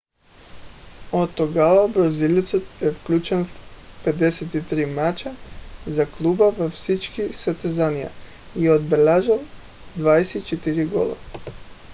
от тогава бразилецът е включен в 53 мача за клуба във всички състезания и е отбелязал 24 гола